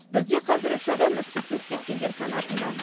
бізде қазір үш адам із түзсіз кеткендер санатында